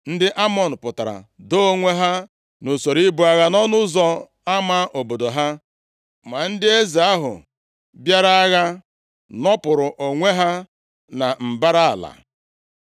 Ndị Amọn pụtara doo onwe ha nʼusoro ibu agha, nʼọnụ ụzọ ama obodo ha. Ma ndị eze ahụ bịara agha, nọpụrụ onwe ha na mbara ala.